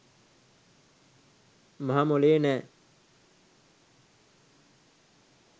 මහමොලේ නැ